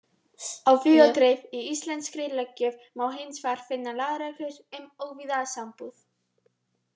Á víð og dreif í íslenskri löggjöf má hins vegar finna lagareglur um óvígða sambúð.